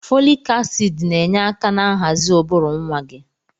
Fọlịk asiidi na-enye aka na nhazi ụbụrụ nwa gị.